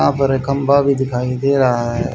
यहाँ पर एक खंबा भीं दिखाई दे रहा हैं।